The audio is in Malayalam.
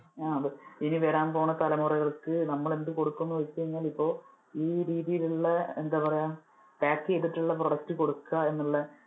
അതെ ഇനി വരാൻ പോണ തലമുറകൾക്ക് നമ്മൾ ഇനി എന്ത് കൊടുക്കും എന്ന് ചോദിച്ചു കഴിഞ്ഞാൽ ഇപ്പോൾ ഈ രീതിയിൽ ഉള്ള എന്താ പറയാ pack ചെയ്തിട്ടുള്ള product കൊടുക്ക എന്നുള്ള